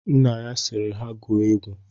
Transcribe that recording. Nna ya sịrị ha gụọ egwu.